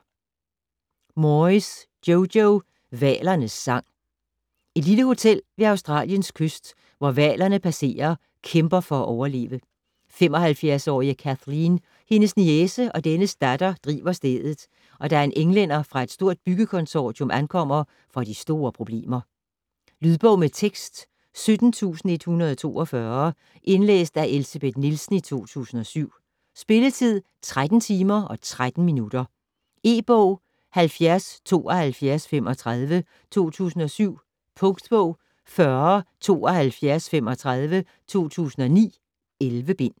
Moyes, Jojo: Hvalernes sang Et lille hotel ved Australiens kyst, hvor hvalerne passerer, kæmper for at overleve. 75-årige Kathleen, hendes niece og dennes datter driver stedet, og da en englænder fra et stort byggekonsortium ankommer, får de store problemer. Lydbog med tekst 17142 Indlæst af Elsebeth Nielsen, 2007. Spilletid: 13 timer, 13 minutter. E-bog 707235 2007. Punktbog 407235 2009. 11 bind.